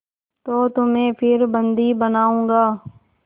तो तुम्हें फिर बंदी बनाऊँगा